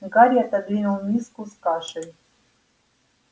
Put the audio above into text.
гарри отодвинул миску с кашей